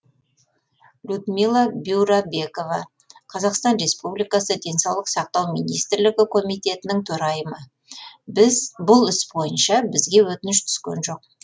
людмила бюрабекова қазақстан республикасы денсаулық сақтау министрлігі комитетінің төрайымы бұл іс бойынша бізге өтініш түскен жоқ